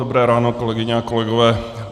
Dobré ráno, kolegyně a kolegové.